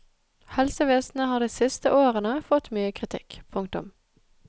Helsevesenet har de siste årene fått mye kritikk. punktum